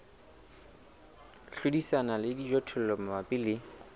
hlodisana le dijothollo mabapi le